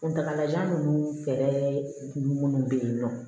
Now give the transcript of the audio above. Kuntagalajan ninnu fɛɛrɛ kun minnu bɛ yen nɔ